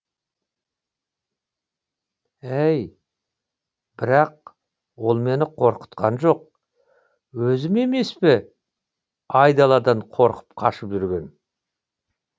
әй бірақ ол мені қорқытқан жоқ өзім емес пе айдаладан қорқып қашып жүрген